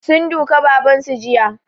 Sun duka baban su jiya